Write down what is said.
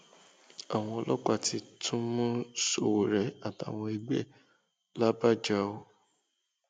àwọn ọlọpàá ti tún mú sowore àtàwọn ẹgbẹ ẹ làbàjá o